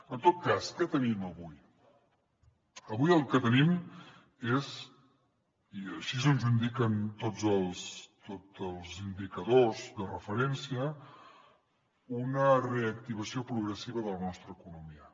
en tot cas què tenim avui avui el que tenim és i així ens ho indiquen tots els tots els indicadors de referència una reactivació progressiva de la nostra economia